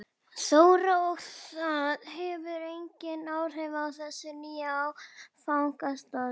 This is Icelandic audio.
Þóra: Og það hefur engin áhrif á þessa nýju áfangastaði?